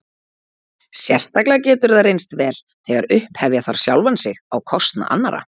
Sérstaklega getur það reynst vel þegar upphefja þarf sjálfan sig á kostnað annarra.